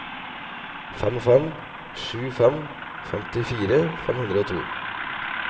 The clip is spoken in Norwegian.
fem fem sju fem femtifire fire hundre og to